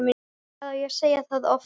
Hvað á ég að segja það oft?!